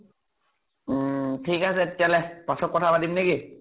উম। ঠিক আছে তেতিয়াহলে । পাছত কথা পাতিম নেকি?